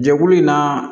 Jɛkulu in na